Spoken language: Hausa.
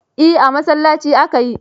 Eh, a masallaci aka yi.